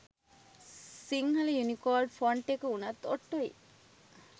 Sinhala Unicode font එක උනත් ඔට්ටුයි.